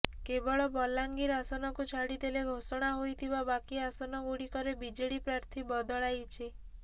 କେବଳ ବଲାଙ୍ଗୀର ଆସନକୁ ଛାଡିଦେଲେ ଘୋଷଣା ହୋଇଥିବା ବାକି ଆସନଗୁଡିକରେ ବିଜେଡି ପ୍ରାର୍ଥୀ ବଦଳାଇଛି